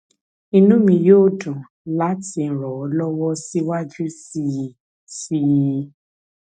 inú mi yóò dùn láti ràn ọ lọwọ síwájú sí sí i